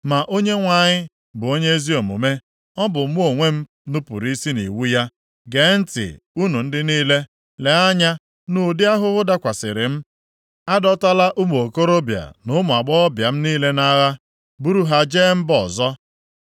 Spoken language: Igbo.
“Ma Onyenwe anyị bụ onye ezi omume. Ọ bụ mụ onwe m nupuru isi nʼiwu ya. Geenụ ntị unu ndị niile, leenụ anya nʼụdị ahụhụ dakwasịrị m. A dọtala ụmụ okorobịa na ụmụ agbọghọbịa m niile nʼagha buru ha jee mba ọzọ.